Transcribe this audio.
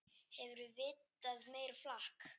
Hefurðu vitað meira flak!